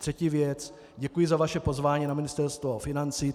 Třetí věc - děkuji za vaše pozvání na Ministerstvo financí.